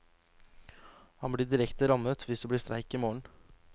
Han blir direkte rammet hvis det blir streik i morgen.